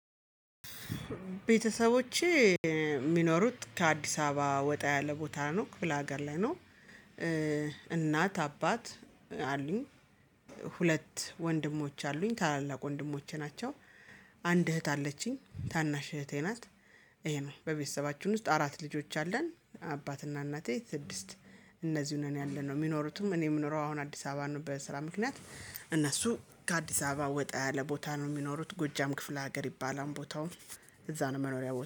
ቤተሰቦቼ የሚኖሩት ከአዲስ አበባ ወጣ ያለ ቦታ ነው ክፍለ ሀገር ላይ ነው። እናት አባት አሉኝ። ሁለት ወንድሞች አሉኝ ታላላቅ ወንድሞቼ ናቸው። አንድ እህት አለችኝ ታናሽ እህቴ ናት። ይሄ ነው በቤተሰባችሁን ውስጥ አራት ልጆች አለን። አባትና እናቴ ስድስት እነዚህን ነው ያለነው የሚኖሩትም እኔ የምኖረው አሁን አዲስ አበባ ነው። በስራ ምክንያት እነሱ ከአዲስ አበባ ወጣ ያለ ቦታ ነው የሚኖሩት ጎጃም ክፍለ ሀገር ይባላል። ቦታውም እዛ ነው መኖሪያው